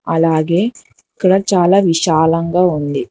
అలాగే ఇక్కడ చాలా విశాలంగా ఉంది.